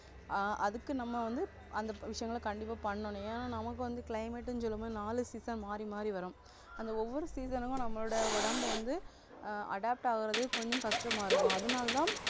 ஆஹ் அதுக்கு நம்ம வந்து அந்த விஷயங்களை கண்டிப்பா பண்ணணும் ஏன்னா நமக்கு வந்து climate ன்னு சொல்லும்போது நாலு season மாறி மாறி வரும் அந்த ஒவ்வொரு season க்கும் நம்மளோட உடம்பு வந்து ஆஹ் adapt ஆகுறது கொஞ்சம் கஷ்டமா இருக்கும் அதனாலதான்